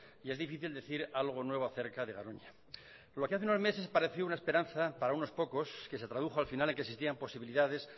y es difícil decir algo nuevo a cerca de garoña lo que hace unos meses parecía una esperanza para nos pocos que se tradujo al final que existían posibilidades